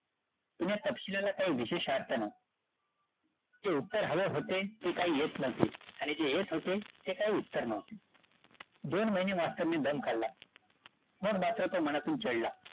पण या काही विशेष अर्थ नव्हता. जे उत्तर हवे होते, ते काही येत नव्हते. आणि जे येत होते ते काही उत्तर नव्हते. दोन महिने मास्तराने दम खाल्ला. मग मात्र तो मनातून चिडला.